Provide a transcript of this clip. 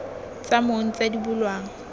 tsa mong tse di bulwang